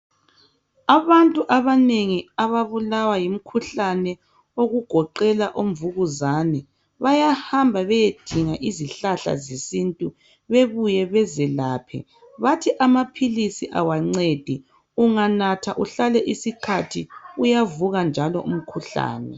Abantu abanengi ababulawa yimkhuhlane okugoqela omvukuzane bayahamba beyedinga izihlahla zesintu bebuye bezelaphe bathi amaphilisi kawancedi unganatha uhlale isikhathi kuyavuka njalo uyavuka njalo umkhuhlane